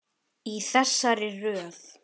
Í þessari röð.